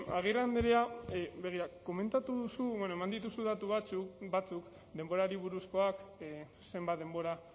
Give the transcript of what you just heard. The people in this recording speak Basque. agirre andrea begira komentatu duzu bueno eman dituzu datu batzuk denborari buruzkoak zenbat denbora